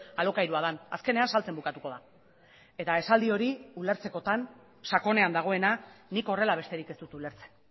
alokairua den azkenean saltzen bukatuko da eta esaldi hori ulertzekotan sakonean dagoena nik horrela besterik ez dut ulertzen